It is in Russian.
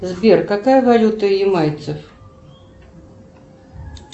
сбер какая валюта у ямайцев